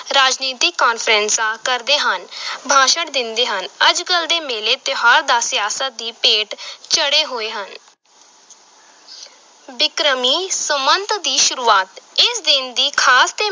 ਰਾਜਨੀਤਕ ਕਾਨਫ਼ਰੰਸਾਂ ਕਰਦੇ ਹਨ ਭਾਸ਼ਣ ਦਿੰਦੇ ਹਨ, ਅੱਜ-ਕੱਲ੍ਹ ਦੇ ਮੇਲੇ, ਤਿਉਹਾਰ ਤਾਂ ਸਿਆਸਤ ਦੀ ਭੇਟ ਚੜ੍ਹੇ ਹੋਏ ਹਨ ਬਿਕਰਮੀ ਸੰਮਤ ਦੀ ਸ਼ੁਰੂਆਤ, ਇਸ ਦਿਨ ਦੀ ਖ਼ਾਸ ਤੇ